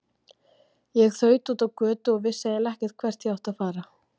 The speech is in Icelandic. Ég þaut út á götu og vissi eiginlega ekkert hvert ég átti að fara.